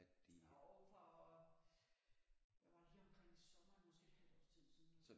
Jo for hvad var det her omkring sommeren måske et halvt års tid siden